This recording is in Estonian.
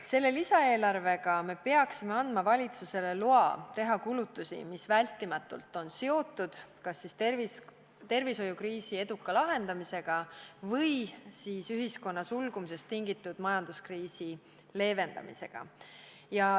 Selle lisaeelarvega me peaksime andma valitsusele loa teha kulutusi, mis vältimatult on seotud kas tervishoiukriisi eduka lahendamisega või siis ühiskonna sulgumisest tingitud majanduskriisi leevendamisega.